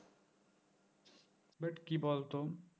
but কি বলতো